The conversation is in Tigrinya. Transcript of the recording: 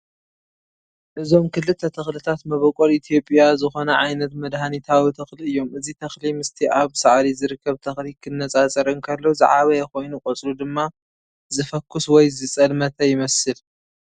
እዞም ክልተ ተኽልታት መበቆል ኢትዮጵያ ዝኾነ ዓይነት መድሃኒታዊ ተኽሊ እዮም። እዚ ተኽሊ ምስቲ ኣብ ሳዕሪ ዝርከብ ተኽሊ ክነጻጸር እንከሎ ዝዓበየ ኮይኑ ቆጽሉ ድማ ዝፈኲስ ወይ ዝጸልመተ ይመስል።